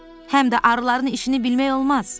Həm də arıların işini bilmək olmaz.